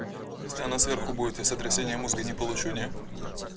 если они сверху будет я сотрясение мозга не получу не